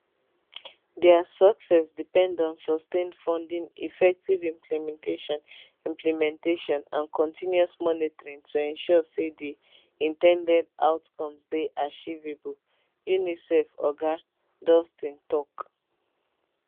dia success depend on sustained funding effective implementation implementation and continuous monitoring to ensure say di in ten ded outcomes dey achievable unicef oga dohls ten tok